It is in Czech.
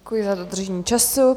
Děkuji za dodržení času.